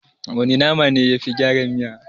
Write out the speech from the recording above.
Wana nama ne yafi gyara miya?